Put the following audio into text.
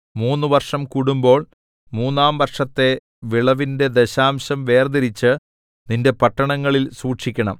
മൂന്ന് വർഷം കൂടുമ്പോൾ മൂന്നാം വർഷത്തെ വിളവിന്റെ ദശാംശം വേർതിരിച്ച് നിന്റെ പട്ടണങ്ങളിൽ സൂക്ഷിക്കണം